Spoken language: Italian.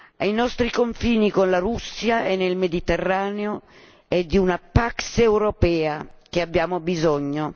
Ai nostri confini con la Russia e nel Mediterraneo è di una pax europea che abbiamo bisogno.